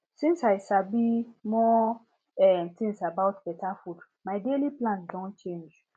since i sabi more um things about better food my daily plans don change